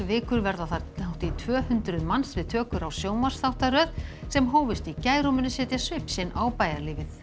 vikur verða þar hátt í tvö hundruð manns við tökur á sjónvarpsþáttaröð sem hófust í gær og munu setja svip sinn á bæjarlífið